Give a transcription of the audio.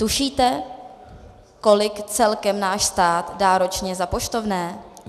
Tušíte, kolik celkem náš stát dá ročně za poštovné?